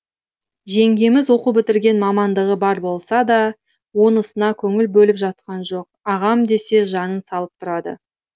жеңгеміз оқу бітірген мамандығы бар болса да онысына көңіл бөліп жатқан жоқ ағам десе жанын салып тұрады